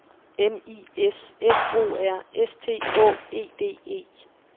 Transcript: M I S F O R S T Å E D E